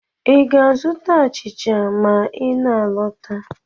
Ị ga-azụta achịcha ma ị na-alọta?